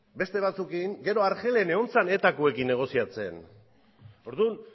beste batzuekin gero argelen egon zen etakoekin negoziatzen orduan